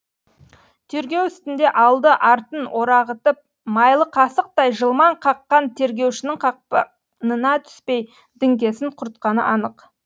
тергеу үстінде алды артын орағытып майлы қасықтай жылмаң қаққан тергеушінің қақпанына түспей діңкесін құртқаны анық